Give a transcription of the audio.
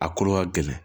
A kolo ka gɛlɛn